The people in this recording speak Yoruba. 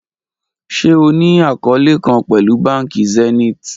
Ṣe o ni akọọlẹ kan pẹlu banki Zenith?